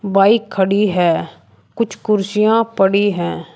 Bike खड़ी है कुछ कुर्सियां पड़ी है।